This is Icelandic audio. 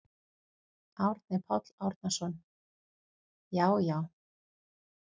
Árni Páll Árnason: Já já.